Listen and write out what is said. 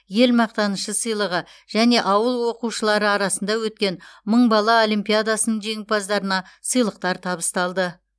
ел мақтанышы сыйлығы және ауыл оқушылары арасында өткен мың бала олимпиадасының жеңімпаздарына сыйлықтар табысталды